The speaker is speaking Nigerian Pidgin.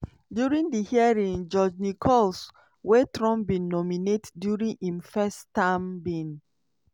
during di hearing judge nichols - wey trump bin nominate during im first term - bin